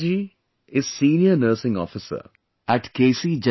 Surekha Ji is Senior Nursing Officer in K